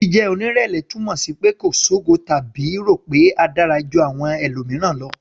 Jíjẹ́ onírẹ̀lẹ̀ túmọ̀ sí pé kò ṣogo tàbí rò pé a dára ju àwọn mìíràn lọ.